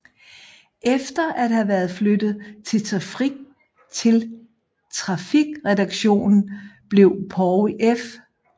Efter at have været flyttet til trafikredaktionen blev Poul F